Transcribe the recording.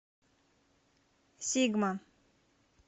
сигма